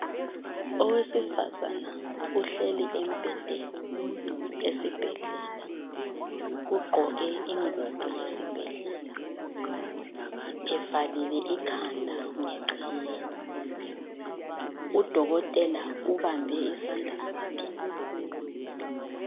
Owesifazane uhleli embhedeni esibhedlela. Ugqoke ingubo yesibhedlela, evalile ikhanda ngeqhiye. Udokotela ubambe isandla sakhe.